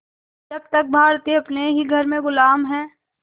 जब तक भारतीय अपने ही घर में ग़ुलाम हैं